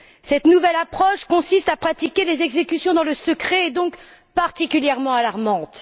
Cette nouvelle approche qui consiste à pratiquer les exécutions dans le secret est donc particulièrement alarmante.